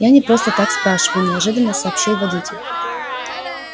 я не просто так спрашиваю неожиданно сообщил водитель